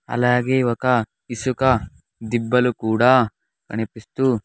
అలాగే ఒక ఇసుక దిబ్బలు కూడా కనిపిస్తూ--